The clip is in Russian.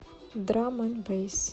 драм энд бэйс